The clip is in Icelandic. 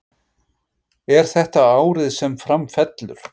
Er þetta árið sem Fram fellur?